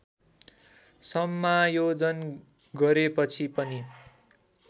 समायोजन गरेपछि पनि